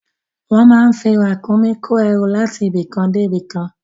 Wọ́n á máa fi Ràkúnmí kó ẹrú láti ibì kan dé ibì kan